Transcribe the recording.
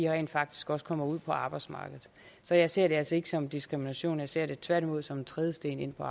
rent faktisk også kommer ud på arbejdsmarkedet så jeg ser det altså ikke som diskrimination jeg ser det tværtimod som en trædesten ind på